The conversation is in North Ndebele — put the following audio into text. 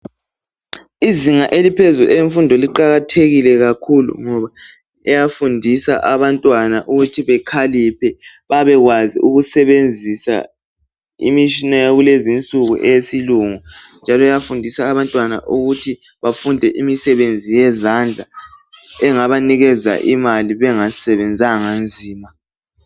Izinga eliphezulu elemfundo liqakathekile kakhulu ngoba liyafundisa abantwana ukuthi bekhaliphe. Babekwazi ukusebenzisa imishina yakulezi nsuku eyesilungu, njalo iyafundisa abantwana ukuthi bafunde imisebenzi yezandla. Engabanikeza imali bengasebenzanga nzima.